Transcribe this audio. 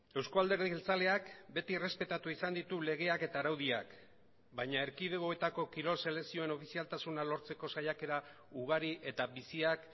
euzko alderdi jeltzaleak beti errespetatu izan ditu legeak eta araudiak baina erkidegoetako kirol selekzioen ofizialtasuna lortzeko saiakera ugari eta biziak